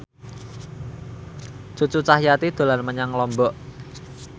Cucu Cahyati dolan menyang Lombok